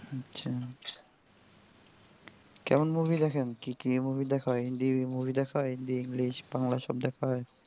আচ্ছা আচ্ছা কেমন movie দেখেন কি কি movie দেখা হয়? হিন্দি movie দেখা হয় হিন্দি english বাংলা সব দেখা হয়.